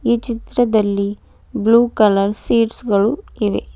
ಈ ಚಿತ್ರದಲ್ಲಿ blue colour seats ಗಳು ಇವೆ.